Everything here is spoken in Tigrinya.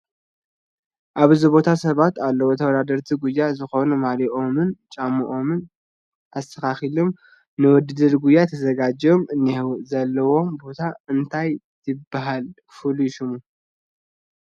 ኣብዚ ቦታ ሰባት ኣልዉ ተውዳደርቲ ጉያ ዝኮኑ ማልይኦምን ጫማኦምን ኣስትካኪሎም ንዉድድር ጉያ ተዝጋጅዮም እኒሕዉ ዘልዉዎ ቦታ እንታይ ይበሃል ፍሉይ ሽሙ ?